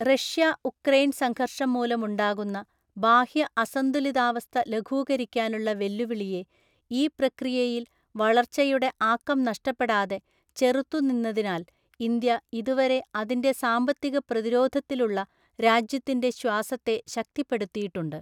Russia Ukraine സംഘർഷം മൂലമുണ്ടാകുന്ന ബാഹ്യ അസന്തുലിതാവസ്ഥ ലഘൂകരിക്കാനുള്ള വെല്ലുവിളിയെ ഈ പ്രക്രിയയിൽ വളർച്ചയുടെ ആക്കം നഷ്ടപ്പെടാതെ ചെറുത്തുനിന്നതിനാൽ ഇന്ത്യ ഇതുവരെ അതിൻ്റെ സാമ്പത്തിക പ്രതിരോധത്തിലുള്ള രാജ്യത്തിൻ്റെ ശ്വാസത്തെ ശക്തിപ്പെടുത്തിയിട്ടുണ്ട്.